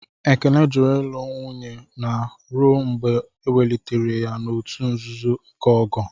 Ekene jụrụ ịlụ nwanye na ruo mgbe ewelitere ya n'òtù nzuzo nke ogo..